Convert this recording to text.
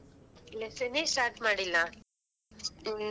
Lesson ನ್ನೇ start ಮಾಡಿಲ್ಲ.